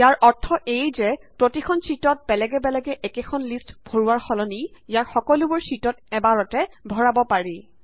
ইয়াৰ অৰ্থ এয়ে যে প্ৰতিখন শ্যিটত বেলেগে বেলেগে একেখন লিষ্ট ভৰোৱাৰ সলনি ইয়াক সকলোবোৰ শ্যিটত এবাৰতে ভৰাব পাৰি